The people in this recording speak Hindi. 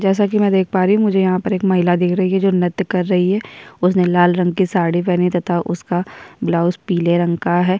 जैसा की मै देख पा रही हूं मुझे यहाँ पर एक महिला दिख रही है जो नृत्य कर रही है उसने लाल रंग के साड़ी पहनी तथा उसके बलाउज पीले रंग का है।